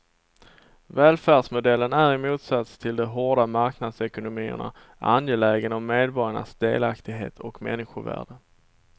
Välfärdsmodellen är i motsats till de hårda marknadsekonomierna angelägen om medborgarnas delaktighet och människovärde.